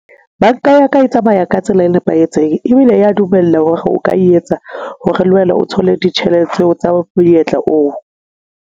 Banka ya ka e tsamaya ka tsela e nepahetseng ebile ya dumella hore o ka yetsa hore le wena o thole ditjhelete tseo tsa monyetla oo.